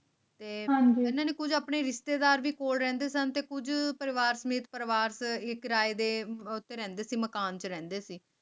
ਤੇ ਮੰਜ਼ਿਲ ਕੁਝ ਆਪਣੇ ਰਿਸ਼ਤੇਦਾਰਾਂ ਕੋਲ ਰਹਿੰਦੇ ਸਨ ਕੁਝ ਪਰਿਵਾਰ ਸਮੇਤ ਪਰਵਾਰ ਤੇ ਕਿਰਾਏ ਦੇ ਮਕਾਨ ਕਿਰਾਏ ਸੀ